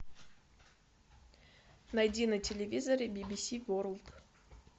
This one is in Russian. найди на телевизоре би би си ворлд